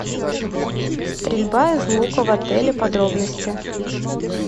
стрельба из лука в отеле подробности